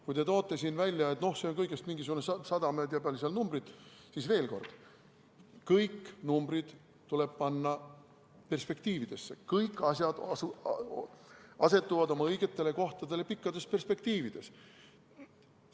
Kui te toote siin välja, et noh, see on kõigest mingisugune 100 või ei tea, kui palju, siis veel kord: kõik numbrid tuleb panna perspektiivi, kõik asjad asetuvad oma õigele kohale pikas perspektiivis.